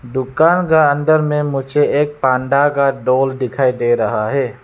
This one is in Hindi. दुकान का अंदर में मुझे एक पांडा का डॉल दिखाई दे रहा है।